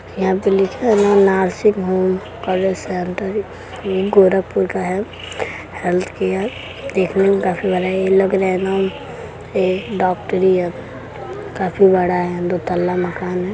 यहां पर लिखा है ना nursing home college centre Gorakhpur का है। हेल्थ केयर देखने में काफी बड़ा ये लग रहा है। एकदम डॉक्टरी यह काफी बड़ा है दो तल्ला मकान है।